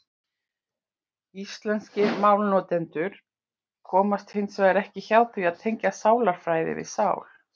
Íslenskir málnotendur komast hins vegar ekki hjá því að tengja sálarfræði við sál.